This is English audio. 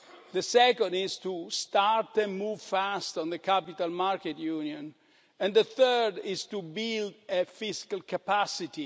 The second is to start to move fast on the capital markets union and the third is to build fiscal capacity.